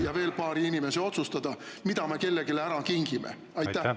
… ja veel paari inimese otsustada, mida me kellelegi ära kingime?